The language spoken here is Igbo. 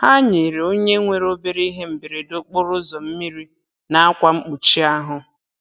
Ha nyere onye nwere obere ihe mberede okporoụzọ mmiri na akwa mkpuchi ahụ.